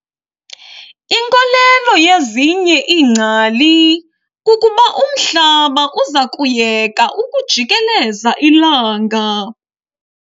Inkolelo yezinye ingcali kukuba umhlaba uza kuyeka ukujikeleza ilanga.